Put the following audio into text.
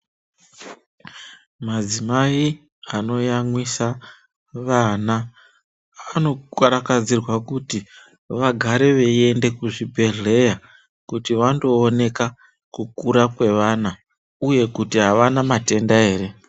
Madzimai ano yamwisa vana vano karakadzirwa kuti vagare vei ende ku zvibhedhlera kuti vando oneka ku kura kwevana uye kuti avana matenda ere.